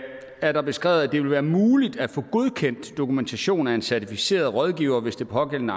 er der beskrevet at det vil være muligt at få godkendt dokumentation af en certificeret rådgivere hvis de pågældende